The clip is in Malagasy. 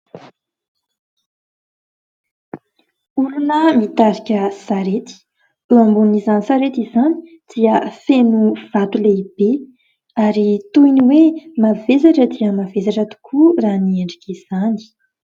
Olona mitarika sarery ; eo ambonin'izany sarety izany dia feno vato lehibe, ary toy ny hoe mavesatra dia mavesatra tokoa raha ny endrik'izany.